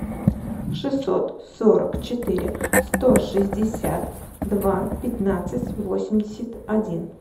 шестьсот сорок четыре сто шестьдесят два пятнадцать восемьдесят один